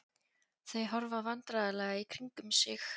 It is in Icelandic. Þau horfa vandræðalega í kringum sig.